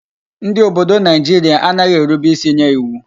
Ndi obodo Naijiria anaghi erube isi nye iwu